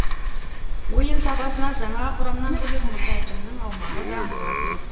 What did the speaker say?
ойын сапасына жаңа құрамнан бөлек мұз айдынның аумағы да мол әсер етпе